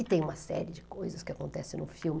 E tem uma série de coisas que acontecem no filme.